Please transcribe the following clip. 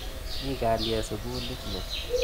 Mi kalyet sukulit ni.